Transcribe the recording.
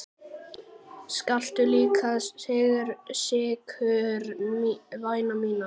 Viltu líka sykur, vina mín?